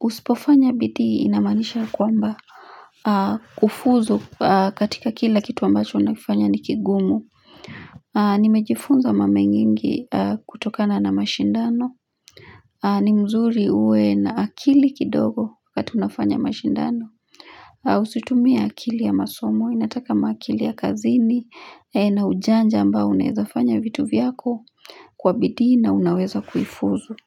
usipofanya bidii inamaanisha kwamba kufuzu katika kila kitu ambacho nakifanya nikigumu. Nimejifunza mamenyingi kutokana na mashindano Nimzuri huwe na akili kidogo wakati unafanya mashindano Usitumie akili ya masomo, inataka makili ya kazini na ujanja ambao unezafanya vitu vyako kwa bidii na unaweza kuifuzu.